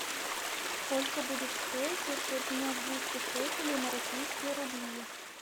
сколько будет стоить если обменять двести шекелей на российские рубли